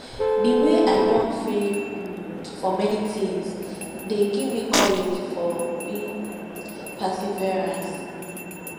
di wey i don fail um for many tings dey give me courage for being um perseverance um